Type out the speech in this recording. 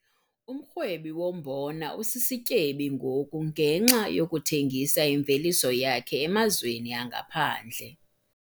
Umrhwebi wombona usisityebi ngoku ngenxa yokuthengisa imveliso yakhe emazweni angaphandle.